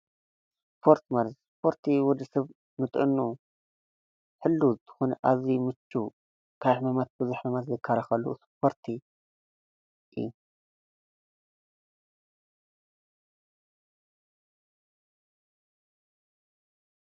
ስፖርቲ ማለት፡- እስፖርቲ ማለት ንወዲ ሰብ ንጥዕንኡ ሕልዉ ዝኮነ ኣዝዩ ምቹው ካብ ሕማማት ቡዙሕ ዝካላከል እስፖርቲ እዩ፡፡